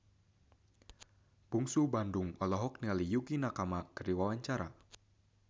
Bungsu Bandung olohok ningali Yukie Nakama keur diwawancara